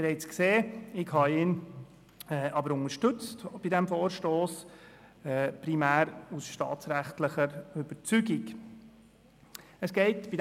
Wie Sie gesehen haben, habe ich ihn, primär aus staatsrechtlicher Überzeugung bei diesem Vorstoss unterstützt.